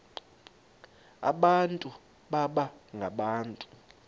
abantu baba ngabantu